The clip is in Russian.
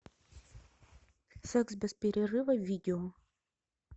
секс без перерыва видео